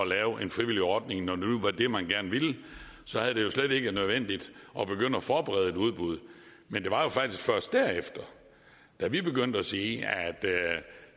lave en frivillig ordning når det nu var det man gerne ville så havde det jo slet ikke været nødvendigt at begynde at forberede et udbud men det var faktisk først derefter da vi begyndte at sige